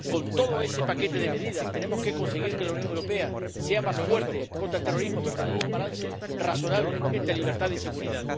Con todo ese paquete de medidas tenemos que conseguir que la Unión Europea sea más fuerte contra el terrorismo, pero también un balance razonable entre libertad y seguridad.